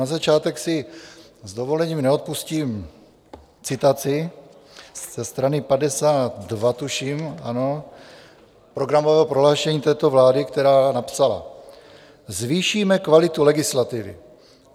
Na začátek si s dovolením neodpustím citaci ze strany 52 - tuším, ano - programového prohlášení této vlády, která napsala: "Zvýšíme kvalitu legislativy.